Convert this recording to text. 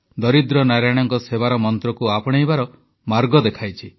ଦରିଦ୍ର ନାରାୟଣଙ୍କ ସେବାର ମନ୍ତ୍ରକୁ ଆପଣେଇବାର ମାର୍ଗ ଦେଖାଇଛି